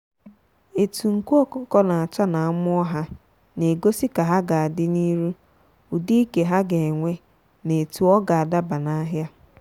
etu nku ọkụkọ na acha na amụọ ha na egosi ka ha ga adị n'iru ụdị ike ha ga enwe na etu ọga adaba n'ahia.